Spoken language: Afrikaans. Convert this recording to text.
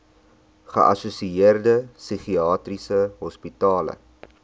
geassosieerde psigiatriese hospitale